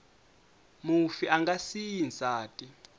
mufi a nga siyi nsati